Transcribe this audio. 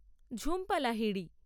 Jhumpa Lahiri